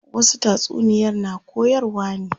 Wasu tatsuniyar na koyarwa ne.